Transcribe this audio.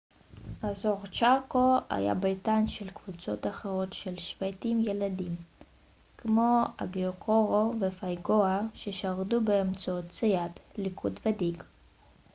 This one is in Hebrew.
אזור צ'אקו היה ביתן של קבוצות אחרות של שבטים ילידים כמו הגואייקורו ופייאגואה ששרדו באמצעות ציד ליקוט ודיג